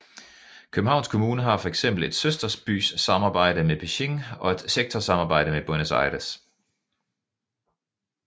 Københavns Kommune har fx et søsterbysamarbejde med Beijing og et sektorsamarbejde med Buenos Aires